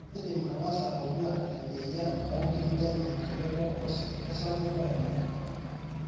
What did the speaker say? kaidim angas atodua eneyia orangi lenye tenebo esapuko enye